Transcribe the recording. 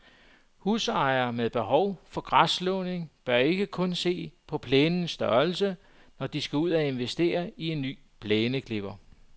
Husejere med behov for græsslåning bør ikke kun se på plænens størrelse, når de skal ud at investere i en ny plæneklipper.